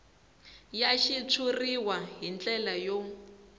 ya xitshuriwa hi ndlela yo